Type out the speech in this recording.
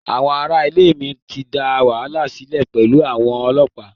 Àwọn ará ilé mi ti dá wàhálà sílẹ̀ pẹ̀lú àwọn ọlọ́pàá.